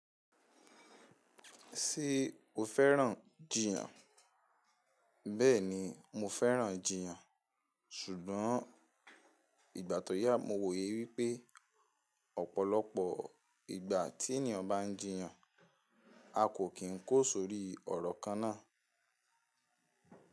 Ṣé o fẹ́ràn jiyan? Bẹ́ẹ̀ni, mo fẹ́ràn jiyan, ṣùgbọ́n ìgbà tó yà mo wòye wípé ọ̀pọ̀lọpọ̀ ìgbà tí ènìyàn bá ń jiyan, a kò kín kó sórí ọ̀rọ̀ kan náà.